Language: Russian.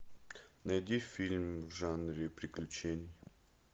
найди фильм в жанре приключения